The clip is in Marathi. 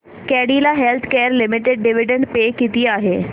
Cadila healthcare limited dividend pay किती आहे